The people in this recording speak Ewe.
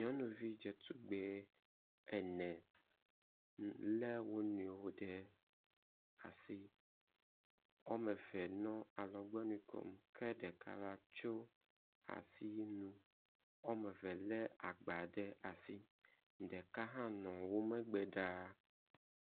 Nyɔnuvi dzetugbi ene le wo nɔewo ɖe asi. Wɔme eve nɔ alɔgbɔnui kom ke ɖeka la tso asi nu. Wɔme eve le agba ɖe as. Ɖeka hã nɔ wo megbe ɖaa.